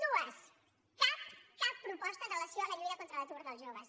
dues cap cap proposta amb relació a la lluita contra l’atur dels joves